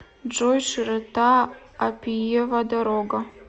джой широта аппиева дорога